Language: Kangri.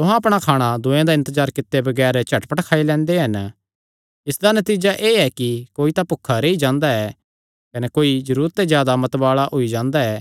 तुहां अपणा खाणा दूये दा इन्तजार कित्ते बगैर झटपट खाई लैंदे हन इसदा नतीजा एह़ ऐ कि कोई तां भुखा रेई जांदा ऐ कने कोई जरूरत ते जादा मतवाल़ा होई जांदा ऐ